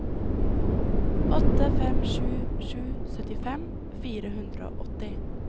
åtte fem sju sju syttifem fire hundre og åtti